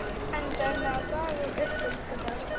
Endaði með að daga uppi líka þar.